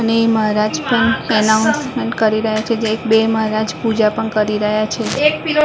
અને મહારાજ પણ એનાઉન્સમેન્ટ કરી રહ્યા છે જે બે મહારાજ પૂજા પણ કરી રહ્યા છે --